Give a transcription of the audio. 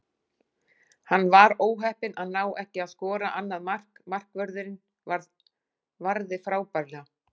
Hann var óheppinn að ná ekki að skora annað mark, markvörðurinn varði frábærlega.